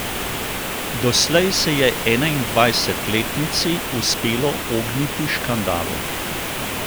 Doslej se je enaindvajsetletnici uspelo ogniti škandalu.